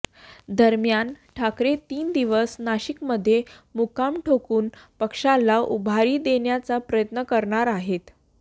दरम्यान ठाकरे तीन दिवस नाशिकमध्ये मुक्काम ठोकून पक्षाला उभारी देण्याचा प्रयत्न करणार आहेत